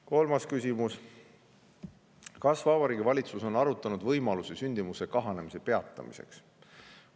Kolmas küsimus: "Kas Vabariigi Valitsus on arutanud võimalusi sündimuse kahanemise peatamiseks?